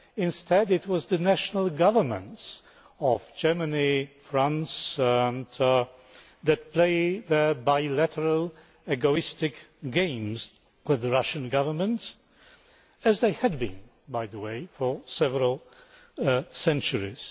Instead, it was the national governments of Germany and France that played their bilateral, egoistic games with the Russian Government as they have done, by the way, for several centuries.